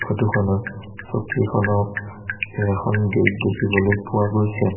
ফটোখনত চকী এখনত এখন বেগ দেখিবলৈ পোৱা গৈছে।